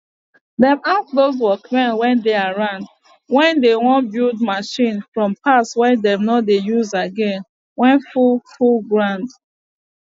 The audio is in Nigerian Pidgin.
dem ask dos workmen wey dey around wen dey wan build machine from parts wey dem nor dey use again wey full full ground